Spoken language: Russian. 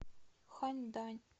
ханьдань